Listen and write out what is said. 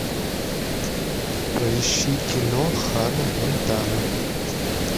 поищи кино ханна монтана